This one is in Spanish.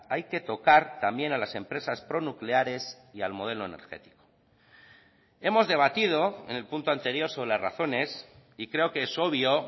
hay que tocar también a las empresas pronucleares y al modelo energético hemos debatido en el punto anterior sobre las razones y creo que es obvio